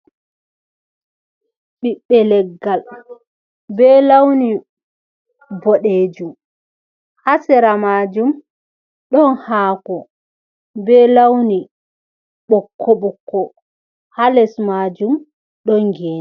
Ɓibbe leggal ɓe launi bodejum, ha sera majum ɗon haako ɓe launi bokko bokko ha les majum don gene.